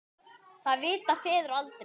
Það vita feður aldrei.